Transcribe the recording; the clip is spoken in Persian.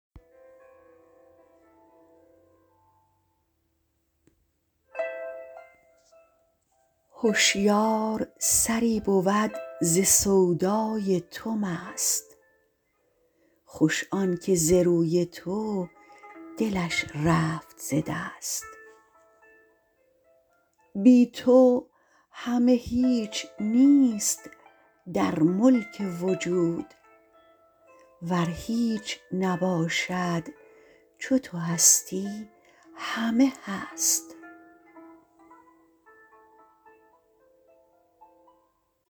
هشیار سری بود ز سودای تو مست خوش آن که ز روی تو دلش رفت ز دست بی تو همه هیچ نیست در ملک وجود ور هیچ نباشد چو تو هستی همه هست